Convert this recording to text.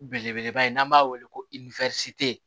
Belebeleba in n'an b'a weele ko